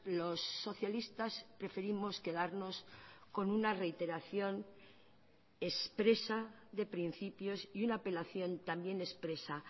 los socialistas preferimos quedarnos con una reiteración expresa de principios y una apelación también expresa